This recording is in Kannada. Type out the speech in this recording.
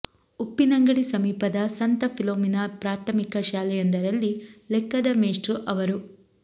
ಉಪ್ಪಿನಂಗಡಿ ಸಮೀಪದ ಸಂತ ಫಿಲೋಮಿನಾ ಪ್ರಾಥಮಿಕ ಶಾಲೆಯೊಂದರಲ್ಲಿ ಲೆಕ್ಕದ ಮೇಷ್ಟ್ರು ಅವರು